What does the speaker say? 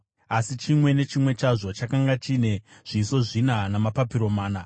asi chimwe nechimwe chazvo chakanga chine zviso zvina namapapiro mana.